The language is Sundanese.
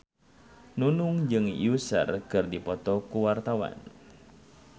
Nunung jeung Usher keur dipoto ku wartawan